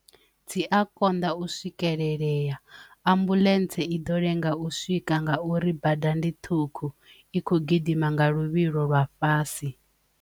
Fzi a konḓa u swikelelea ambuḽentse i ḓo lenga u swika nga uri bada ndi ṱhukhu i kho gidima nga luvhilo lwa fhasi.